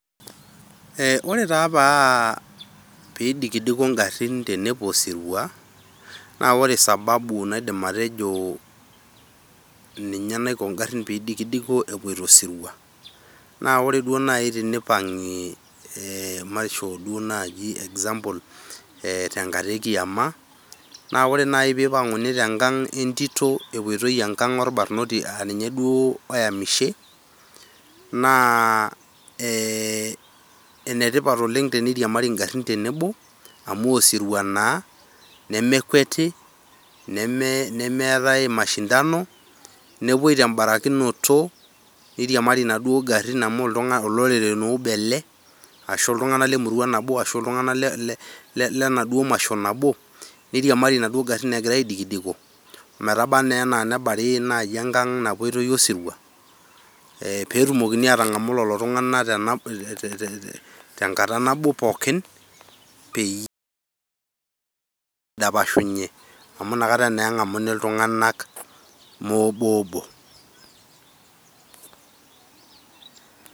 Ore taa pee eidikidiko ingarin tenepuo osirua naa ore sababu naidim atejo ninye naiko ingarin pee eidikidiko pee epuo osirua, naa ore duo naaji teneipang'i matejo duo naaji example, tenkata e kiyama, ore naaji pee eipang'uni te nkang' oo entito , epuoitai duoo enkang' oo olbarnoti aa ninye duo oyamishe, naa enetipat oleng' teneiriamari ingarin tenebo, amu osirua naa nemekweti, nemeatai mashindano, nepuoi te embarakinoto, neiriamari inaduo garin naa amu olorere obo ele, ashu iltung'ana le emurua nabo ashu le enaduo masho nabo, neiriamari naduo garin egira aidikidiko, metabaa naa naji ana nebari enkang' osirua, pee etumokini atang'amu lelo tung'ana te enkata nabo pookin, peyie eidapashunye, amu ina kata naa eng'amuni iltung'anak moo oboobo.